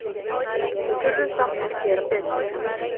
Við þurfum samt að gera betur